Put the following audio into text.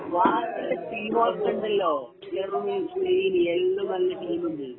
ബാക്കി ഉള്ള ടീമുകളൊക്കെ ഉണ്ടല്ലോ ജർമനി സ്പെയിന് എല്ലാം നല്ല ടീമുണ്ട്